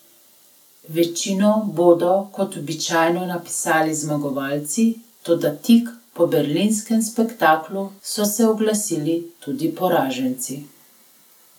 Večino bodo kot običajno napisali zmagovalci, toda tik po berlinskem spektaklu so se oglasili tudi poraženci.